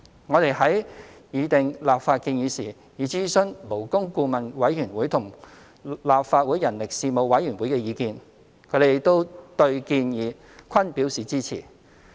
我們在擬訂立法建議時，已諮詢勞工顧問委員會和立法會人力事務委員會的意見，他們對建議均表示支持。